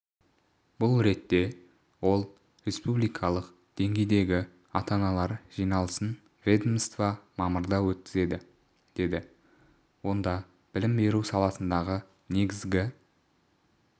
бұл ретте ол республикалық деңгейдегі ата-аналар жиналысын ведомство мамырда өткізеді деді онда білім беру саласындағы негізгі